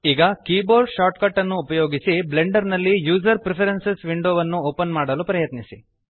ಈಗ keyboard shortcut ಅನ್ನು ಉಪಯೋಗಿಸಿ ಬ್ಲೆಂಡರ್ ನಲ್ಲಿ ಯೂಜರ್ ಪ್ರಿಫರೆನ್ಸಿಸ್ ವಿಂಡೋ ವನ್ನು ಓಪನ್ ಮಾಡಲು ಪ್ರಯತ್ನಿಸಿ